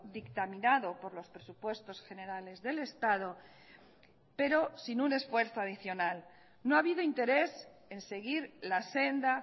dictaminado por los presupuestos generales del estado pero sin un esfuerzo adicional no ha habido interés en seguir la senda